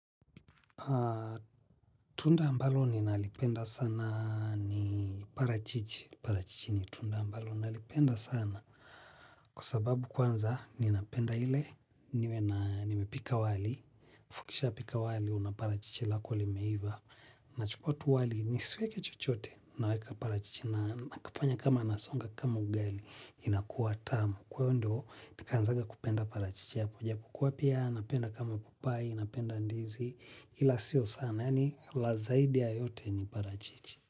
Tunda ambalo ninalipenda sana ni parachichi. Parachichi ni tunda ambalo nalipenda sana. Kwa sababu kwanza ninapenda ile nimepika wali halafu ukipika wali unapata parachichi lako limeiva nachukua tu wali nisiweke chochote naweka parachichi na nakifanya kama nasonga kama ugali inakuwa tamu kwa hiyo ndo nikanzanga kupenda parachichi hapo japokuwa pia napenda kama papai napenda ndizi ila sio sana yani la zaidi ya yote ni parachichi.